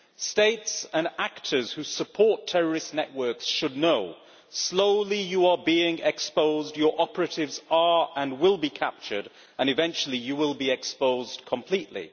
States and actors who support terrorist networks should know slowly you are being exposed, your operatives are, and will be, captured, and eventually you will be exposed completely.